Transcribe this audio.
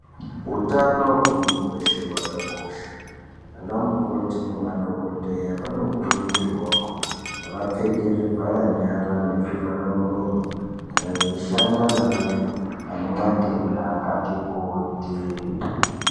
Utano hwemunhu weshe hwakakosha. Ana mukoti nemadhokodheya vanokurudzirwawo kuti vapfeke zvivhara nyara nezvivhara muromo kana veishanda neantu ane matenda akati kuti.